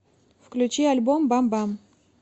включи альбом бам бам